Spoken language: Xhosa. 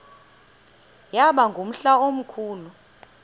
yaba ngumhla omkhulu